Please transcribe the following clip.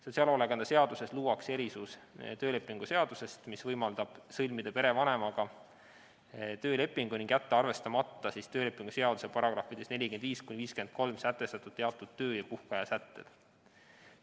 Sotsiaalhoolekande seaduses luuakse erisus töölepingu seadusest, mis võimaldab sõlmida perevanemaga töölepingu ning jätta arvestamata töölepingu seaduse §-des 45–53 sätestatud teatud töö- ja puhkeaja sätteid.